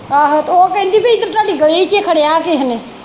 ਆਹੋ ਤੇ ਉਹ ਕਹਿੰਦੀ ਪੀ ਇਧਰ ਤੁਹਾਡੀ ਗਲੀ ਚ ਈ ਖੜਿਆ ਕਿਹੇ ਨੇ